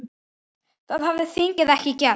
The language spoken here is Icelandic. Það hefði þingið ekki gert.